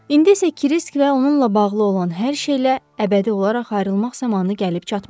İndi isə Kirisk və onunla bağlı olan hər şeylə əbədi olaraq ayrılmaq zamanı gəlib çatmışdı.